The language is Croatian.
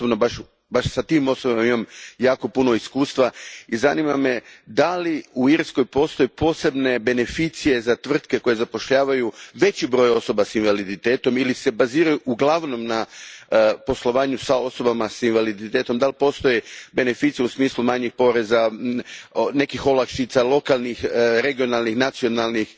Ja osobno baš s tim osobama imam jako puno iskustva i zanima me da li u Irskoj postoje posebne beneficije za tvrtke koje zapošljavaju veći broj osoba s invaliditetom ili se baziraju uglavnom na poslovanju s osobama s invaliditetom, da li postoje beneficije u smislu manjih poreza, nekih olakšica lokalnih, regionalnih, nacionalnih